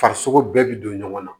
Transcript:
Farisogo bɛɛ bi don ɲɔgɔn na